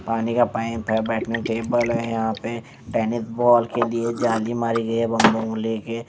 पानी का पाइप है बैठने की टेबल है यहाँं पे टेनिस बॉल के लिए जाली मारी गई है बम होल ले के।